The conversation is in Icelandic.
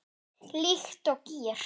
Líkt og gír